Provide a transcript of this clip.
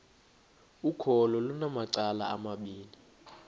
ukholo lunamacala amabini